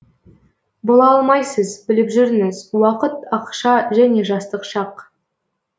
бола алмайсыз біліп жүріңіз уақыт ақша және жастық шақ